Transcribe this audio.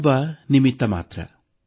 ನಾನೊಬ್ಬ ನಿಮಿತ್ತ ಮಾತ್ರ